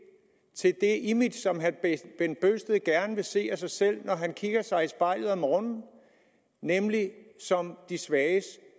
image som herre bent bøgsted gerne vil se når han kigger sig i spejlet om morgenen nemlig som de svages